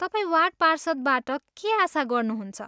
तपाईँ वार्ड पार्षदबाट के आशा गर्नुहुन्छ?